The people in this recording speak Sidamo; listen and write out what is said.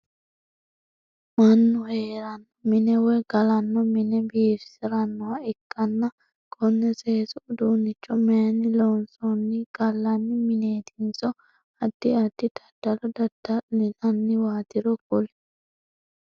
Mannu heerano mine woyi galano mine biifisiranoha ikanna konne seesu uduunicho mayinni loonsoonni? Galanni mineetinso addi addi dadallo dada'linnanniwatoro kuli?